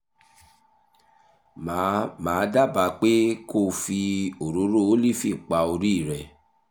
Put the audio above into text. màá màá dábàá pé kó o fi òróró ólífì pa orí rẹ